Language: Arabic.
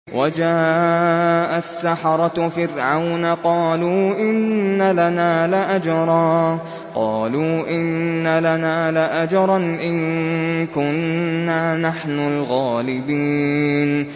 وَجَاءَ السَّحَرَةُ فِرْعَوْنَ قَالُوا إِنَّ لَنَا لَأَجْرًا إِن كُنَّا نَحْنُ الْغَالِبِينَ